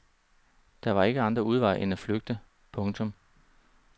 Der var ikke andre udveje end at flygte. punktum